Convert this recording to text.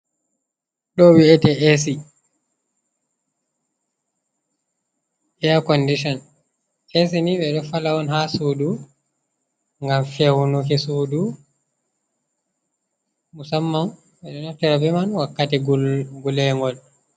Ɗo wi ete ac acondition, as ni ɓe ɗo fala on ha sudu ngam fewunuki sudu, musamman ɓeɗo naftira beman wakkati gulengol.